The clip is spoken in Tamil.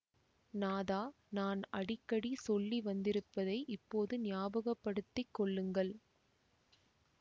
நாதா நான் அடிக்கடி சொல்லி வந்திருப்பதை இப்போது ஞாபகப்படுத்திக் கொள்ளுங்கள்